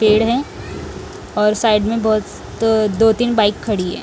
पेड़ हैं और साइड में बहुत दो तीन बाइक खड़ी हैं।